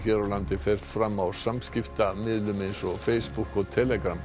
á landi fer fram á samskiptamiðlum eins og Facebook og